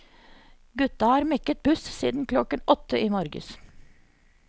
Gutta har mekket buss siden klokken åtte i morges.